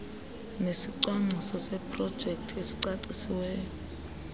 nesicwangciso seprojekthi esicacisiweyo